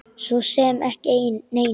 Svo sem ekki neinu.